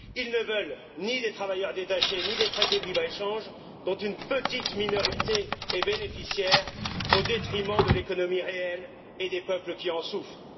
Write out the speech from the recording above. Ils ne veulent ni des travailleurs détachés, ni des traités de libre échange dont une petite minorité est bénéficiaire au détriment de l'économie réelle et des peuples qui en souffrent.